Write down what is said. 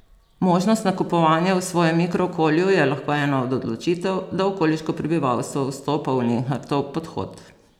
Možnost nakupovanja v svojem mikrookolju je lahko ena od odločitev, da okoliško prebivalstvo vstopa v Linhartov podhod.